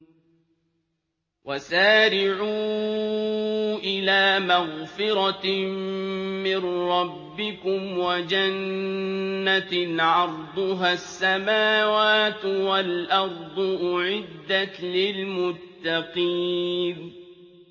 ۞ وَسَارِعُوا إِلَىٰ مَغْفِرَةٍ مِّن رَّبِّكُمْ وَجَنَّةٍ عَرْضُهَا السَّمَاوَاتُ وَالْأَرْضُ أُعِدَّتْ لِلْمُتَّقِينَ